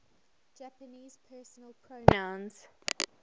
japanese personal pronouns